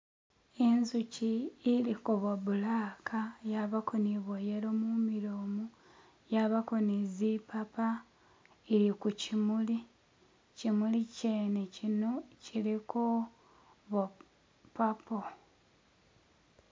Inzuchi iliko bwo black, yabako ni bwo yellow mumilo, yabako ne zipapa ili kukyimuli, kukyimuli kyene kyino kyiliko bwo papo.